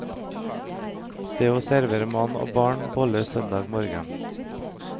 Det er å servere mann og barn boller søndag morgen.